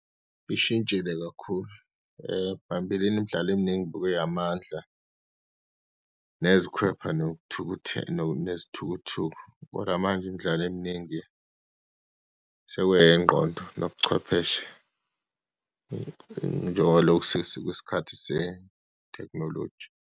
Ishintshile kakhulu, phambilini imidlalo eminingi bekuyeyamandla, nezikhwepha nezithukuthuku. Kodwa manje imidlalo eminingi sekuyengqondo nobuchwepheshe, njengabaloku sesikwisikhathi setekhinoloji.